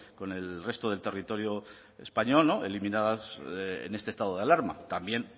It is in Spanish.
con el resto del territorio español eliminadas en este estado de alarma también